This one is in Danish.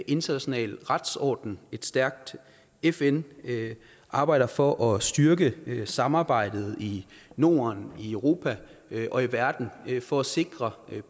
international retsorden et stærkt fn og arbejder for at styrke samarbejdet i norden i europa og i verden for at sikre